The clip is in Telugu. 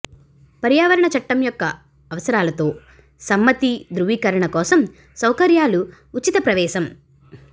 పర్యావరణ చట్టం యొక్క అవసరాలతో సమ్మతి ధృవీకరణ కోసం సౌకర్యాలు ఉచిత ప్రవేశం